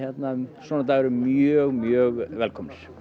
svona dagar eru mjög mjög velkomnir